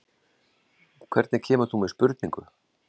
Hvernig kemur þú með spurningu?